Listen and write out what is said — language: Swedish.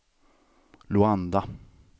Luanda